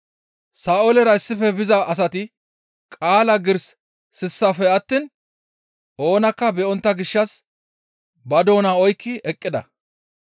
Sa7oolera issife biza asati qaala giiris sissafe attiin oonakka be7ontta gishshas ba doona oykki eqqida.